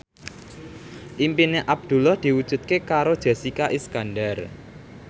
impine Abdullah diwujudke karo Jessica Iskandar